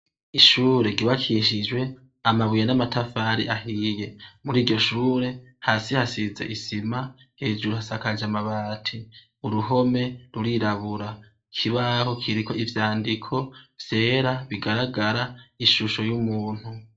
Ishure ryubakishijwe amabuye n'amatafari ahiye. Mur'iryo shure ,hasi hasize isima, hejuru hasakaje amabati. Uruhome ruirabura. Ikibaho kiriko ivyandiko vyera bigaragara ishusho y'umuntu.